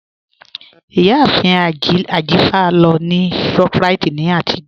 Iyàáfin Ajífà lọ ni Shoprite ni àtijọ̀